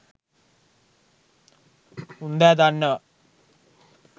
උන්දැ දන්නවා